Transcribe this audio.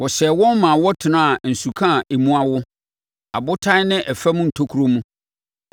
Wɔhyɛɛ wɔn ma wɔtenaa nsuka a emu awo, abotan ne ɛfam ntokuro mu.